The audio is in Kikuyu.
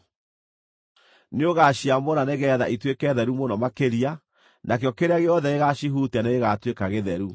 Nĩũgaciamũra nĩgeetha ituĩke theru mũno makĩria, nakĩo kĩrĩa gĩothe gĩgacihutia nĩgĩgatuĩka gĩtheru.